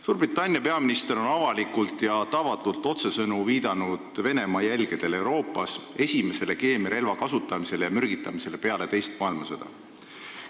Suurbritannia peaminister on avalikult ja tavatult otsesõnu viidanud Venemaa jälgedele Euroopas, esimesele keemiarelva kasutamisele ja mürgitamisele peale teist maailmasõda.